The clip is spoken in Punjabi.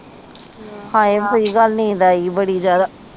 ਹਾਏ ਸਹੀ ਗੱਲ ਆ ਨੀਂਦ ਆਈ ਬੜੀ ਜਾਦਾ